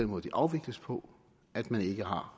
måde de afvikles på at man ikke har